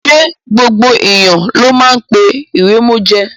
Ṣé gbogbo èèyàn ló máa ń pé ìrèmọ̀jé?